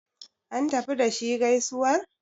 an tafi da shi gaisuwar?